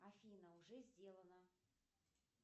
афина уже сделано